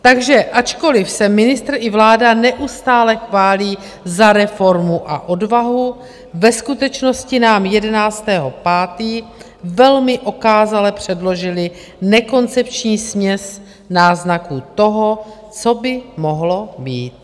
Takže ačkoliv se ministr i vláda neustále chválí za reformu a odvahu, ve skutečnosti nám 11. 5. velmi okázale předložili nekoncepční směs náznaků toho, co by mohlo být.